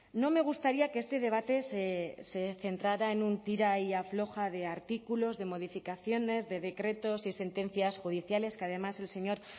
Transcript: no me gustaría que este debate se centrara en un tira y afloja de artículos de modificaciones de decretos y sentencias judiciales que además el señor